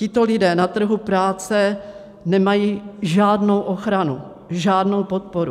Tito lidé na trhu práce nemají žádnou ochranu, žádnou podporu.